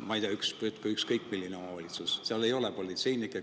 ma ei tea, ükskõik milline omavalitsus – peaks sellega hakkama saama, kui seal ei ole politseinikke?